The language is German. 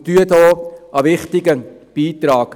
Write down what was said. Sie leisten dort einen wichtigen Beitrag.